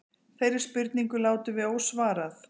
Þeirri spurningu látum við ósvarað.